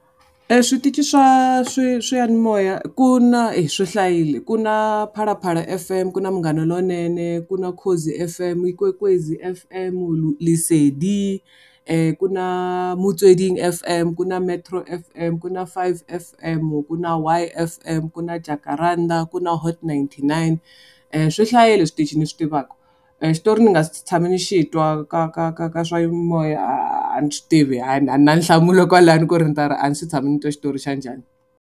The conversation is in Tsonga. Eswitichi swa swiyanimoya ku na, swi hlayile. Kuna Phalaphala F_M, ku na Munghana Lonene, ku na Ukhozi F_M, Ikwekwezi F_M, Lesedi ku na Motsweding F_M, ku na Metro F_M, ku na Five F_M, ku na Y F_M, ku na Jakaranda, ku na Hot ninety-nine, swi hlayile switichi ni swi tivaka. Xitori ni nga tshama ni xi twa ka ka ka ka swiyanimoya a ni swi tivi a ni na nhlamulo kwalano ku ri ni ta ku a ni se tshama ni twa xitori xa njhani.